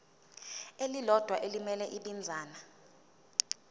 elilodwa elimele ibinzana